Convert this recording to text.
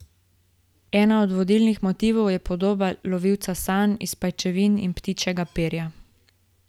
Eden od vodilnih motivov je podoba lovilca sanj iz pajčevin in ptičjega perja.